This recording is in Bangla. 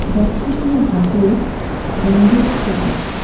ব্যক্তিটির হাতে ব্যান্ডেজ করা আছে.